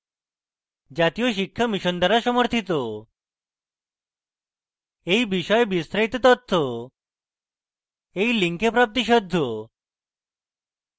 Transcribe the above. এই বিষয়ে বিস্তারিত তথ্য এই link প্রাপ্তিসাধ্য